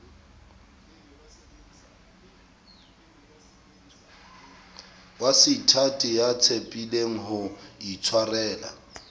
waseithati ya tshepileng ho itshwarela